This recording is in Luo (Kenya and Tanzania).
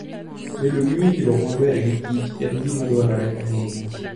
Bedo gi winjruok maber gi kichen gima dwarore ahinya.